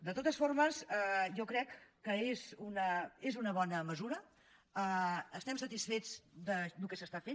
de totes formes jo crec que és una bona mesura estem satisfets del que s’està fent